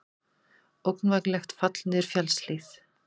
Ógnvænlegt fall niður fjallshlíð